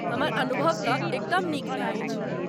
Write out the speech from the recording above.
हमर अनुभव तँ एकदम नीक नहि अछि।